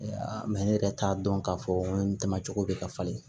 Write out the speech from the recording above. Mɛ ne yɛrɛ t'a dɔn k'a fɔ n ko n tɛmɛna cogo bɛ ka falen